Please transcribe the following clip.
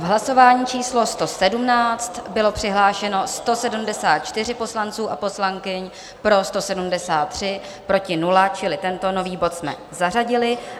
V hlasování číslo 117 bylo přihlášeno 174 poslanců a poslankyň, pro 173, proti 0, čili tento nový bod jsme zařadili.